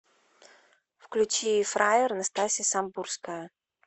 включи фраер настасья самбурская